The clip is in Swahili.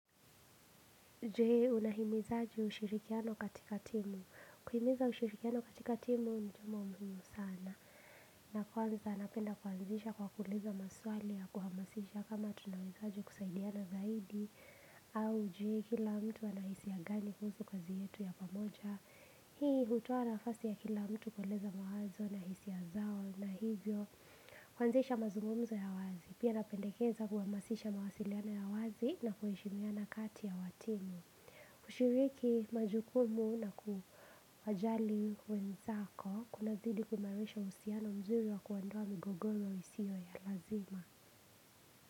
Je, unahimizaji ushirikiano katika timu? Kuhimiza ushirikiano katika timu ni jambo muhimu sana. Na kwanza napenda kuanzisha kwa kuuliza maswali ya kuhamasisha kama tunahitaji kusaidiana zaidi. Au hujui kila mtu ana hisia gani kuhusu kazi yetu ya pamoja. Hii hutoa nafasi ya kila mtu kueleza mawazo na hisia zao na hivyo. Kuanzisha mazungumzo ya wazi. Pia napendekeza kuhamasisha mawasiliana ya wazi na kuheshimiana kati ya watini. Kushiriki majukumu na kuwajali wenzako kunazidi kuimarisha uhusiano na mzuri wa kuondoa migogoro isio ya lazima.